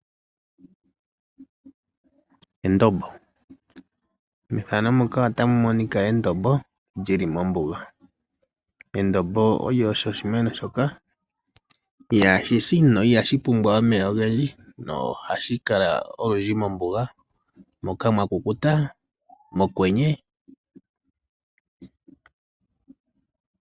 Endombo, methano muka otamu monika endombo lyili mombuga. Endombo olyo, osho oshimeno shoka ihashi si no ihashi pumbwa omeya ogendji. Nohashi kala olundji mombuga moka mwa kukuta mokwenye.